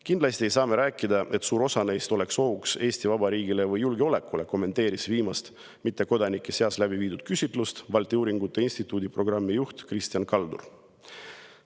Kindlasti ei saa me rääkida, nagu suur osa neist oleks ohuks Eesti Vabariigile või julgeolekule, kommenteeris viimast mittekodanike seas läbiviidud küsitlust Balti Uuringute Instituudi programmijuht Kristjan Kaldur.